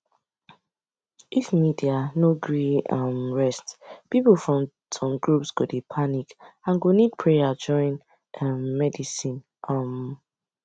if media no gree um rest people from some groups go dey panic and go need prayer join um medicine um